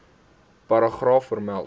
paragraaf vermeld